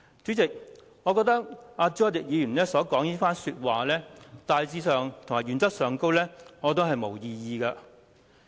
主席，對朱凱廸議員的論點，大致上及原則上我並無異議。